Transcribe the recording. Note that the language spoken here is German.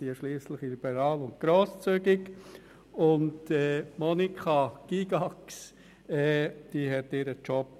Ansonsten unterstützen wir alle Kandidaturen inklusive Präsidien von JuKo, GPK und FiKo.